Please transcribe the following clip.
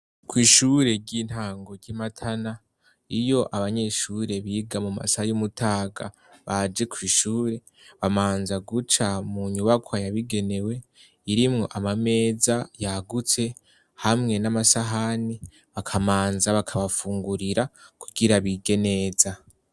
Kw'ishure ry'intango ryi Matana iyo abanyeshure biga mu masaha y'umutaga baje ku ishure babanza guca mu nyubako yabigenewe irimwo amameza yagutse hamwe n'amasahani bakamanza bakabafungurira kugira bige neza.